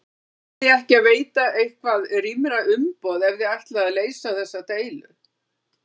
Verðiði ekki að veita eitthvað rýmra umboð ef að þið ætlið að leysa þessa deilu?